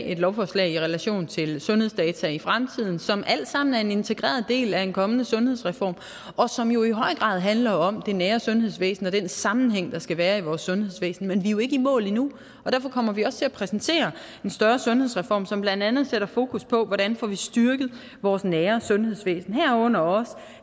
et lovforslag i relation til sundhedsdata i fremtiden som alt sammen er en integreret del af en kommende sundhedsreform og som jo i høj grad handler om det nære sundhedsvæsen og den sammenhæng der skal være i vores sundhedsvæsen men vi er jo ikke i mål endnu derfor kommer vi også til at præsentere en større sundhedsreform som blandt andet sætter fokus på hvordan vi får styrket vores nære sundhedsvæsen herunder også